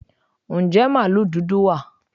Ǹjẹ́ màlúù dúdú wà?